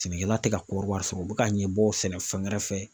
Sɛnɛkɛla tɛ ka kɔri wari sɔrɔ o bɛ ka ɲɛbɔ sɛnɛfɛn wɛrɛ fɛ.